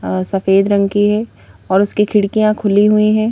सफेद रंग की हैं और उसकी खिड़कियां खुली हुईं हैं।